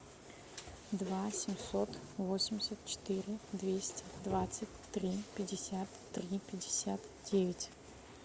два семьсот восемьдесят четыре двести двадцать три пятьдесят три пятьдесят девять